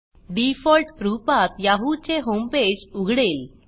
default रूपात Yahoo चे homepage उघडेल